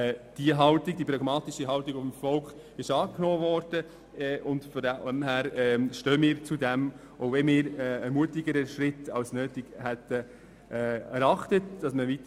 Diese pragmatische Haltung des Volkes ist angenommen worden, und wir stehen dazu, auch wenn wir einen mutigeren Schritt, der weiter hätte gehen sollen, als nötig erachtet hätten.